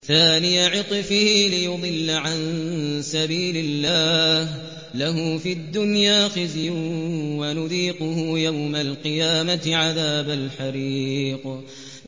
ثَانِيَ عِطْفِهِ لِيُضِلَّ عَن سَبِيلِ اللَّهِ ۖ لَهُ فِي الدُّنْيَا خِزْيٌ ۖ وَنُذِيقُهُ يَوْمَ الْقِيَامَةِ عَذَابَ الْحَرِيقِ